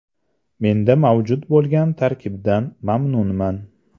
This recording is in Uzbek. Menda mavjud bo‘lgan tarkibdan mamnunman.